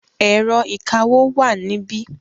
Ẹ̀rọ ìkawó wà níbí.